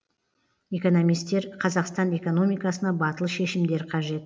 экономистер қазақстан экономикасына батыл шешімдер қажет